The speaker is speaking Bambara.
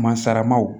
Masalamaw